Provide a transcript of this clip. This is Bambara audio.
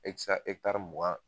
E ti se ka mugan .